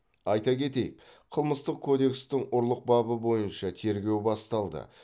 айта кетейік қылмыстық кодекстің ұрлық бабы бойынша тергеу басталды